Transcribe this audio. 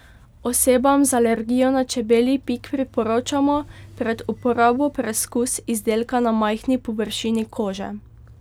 Osebam z alergijo na čebelji pik priporočamo pred uporabo preskus izdelka na majhni površini kože.